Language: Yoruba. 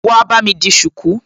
Wá bámi di ṣùkú!